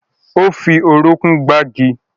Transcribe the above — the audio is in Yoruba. Ó fi orúnkún gbági